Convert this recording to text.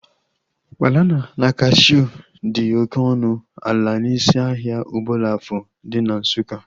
Banana na cashuu dị oké ọnụ ala n'isi ahịa Obollo-Afor dị na Nsukka